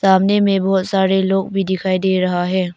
सामने में बहोत सारे लोग भी दिखाई दे रहा है।